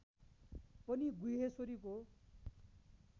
पनि गुह्यश्वरीको